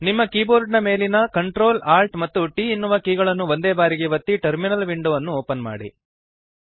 ನಿಮ್ಮ ಕೀಬೋರ್ಡ್ ಮೇಲಿನ Ctrl Alt ಮತ್ತು T ಎನ್ನುವ ಕೀಗಳನ್ನು ಒಂದೇ ಬಾರಿಗೆ ಒತ್ತಿ ಟರ್ಮಿನಲ್ ವಿಂಡೋವನ್ನು ಓಪನ್ ಮಾಡಿರಿ